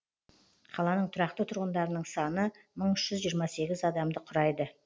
қаланың тұрақты тұрғындарының саны мың үш жүз жыирма сегіз адамды құрайды